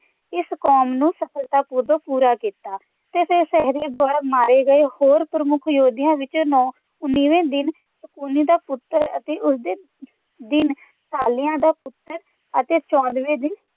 ਇਸ ਕੌਲ ਨੂੰ ਪੂਰਾ ਕੀਤਾ ਤੇ ਫੇਰ ਸਹਿਦੇਵ ਦੁਆਰਾ ਮਾਰੇ ਗਏ ਹੋਰ ਪ੍ਰਮੁੱਖ ਯੋਧਿਆਂ ਵਿਚ ਨੌਂ ਉੱਨੀਵੇ ਦਿਨ ਸ਼ਕੁਨੀ ਦਾ ਪੁੱਤਰ ਅਤੇ ਉਸੇ ਦਿਨ ਸ਼ਲਯ ਦਾ ਪੁੱਤਰ ਅਤੇ ਚੌਦ੍ਹਵੇਂ ਦਿਨ